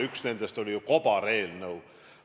Üks nendest oli ju kobareelnõu.